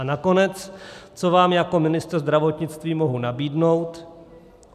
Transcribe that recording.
A nakonec, co vám jako ministr zdravotnictví mohu nabídnout?